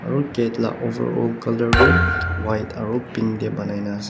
aro gate la overall colour tu white aro pink tae banai na ase.